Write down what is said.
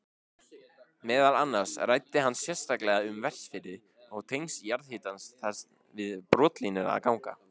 Meðal annars ræddi hann sérstaklega um Vestfirði og tengsl jarðhitans þar við brotlínur og ganga.